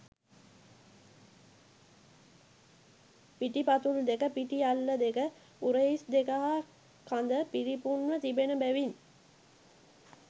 පිටිපතුල් දෙක, පිටි අල්ල දෙක, උරහිස් දෙක හා කඳ පිරිපුන්ව තිබෙන බැවින්